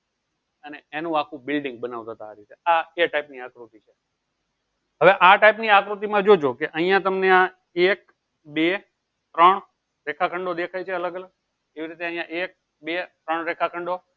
અને એનું આખું building બનાવતા તા આ રીતે આ type ની આકૃતિ છે. હવે આ type ની આકૃતિ માં જોજો કે અહીંયા તમને આ એક બે ત્રણ રેખાખંડો દેખાય છે. અલગ અલગ એવી રીતે એક બે ત્રણ રેખાખંડો